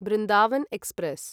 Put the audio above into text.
Vrindavan express